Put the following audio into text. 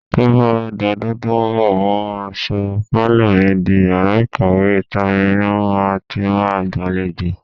Tó bá dọdún tó ń bọ̀, mó máa sọ pálọ̀ mi di yàrá ìkàwé, ìta ni màá ti máa gbàlejò.